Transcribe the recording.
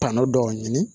Tɔnɔ dɔw ɲini